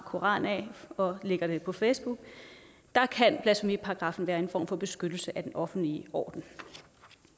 koran af og lægger det på facebook der kan blasfemiparagraffen være en form for beskyttelse af den offentlige orden